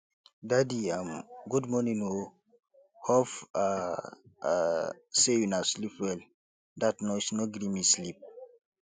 daddy um good morning o hope um um sey una sleep well dat noise no gree me sleep